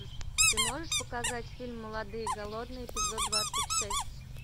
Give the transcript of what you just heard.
ты можешь показать фильм молодые и голодные эпизод двадцать шесть